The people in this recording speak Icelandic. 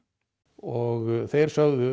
og þeir sögðu